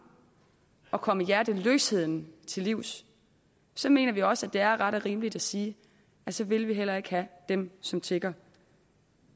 og komme hjerteløsheden til livs så mener vi også at det er ret og rimeligt at sige at så vil vi heller ikke have dem som tigger